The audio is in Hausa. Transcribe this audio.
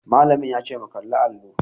Malamin yace mu kalli allo.